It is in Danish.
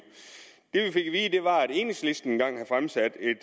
det vi fik at enhedslisten engang havde fremsat et